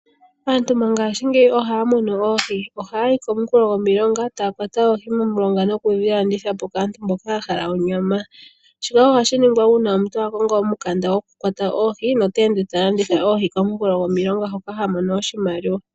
Aantu mongashingeyi ohaya mono oohi ,ohaya yi komikulo dhomilonga tayakwata oohi momilonga nokudhilanditha po kaantu mboka yahala onyama, shoka ohashi ningwa uuna omuntu akongo omukanda gokukwata oohi noteende talanditha oohi komukulo gwomulonga hoka hamono oshimaliwa.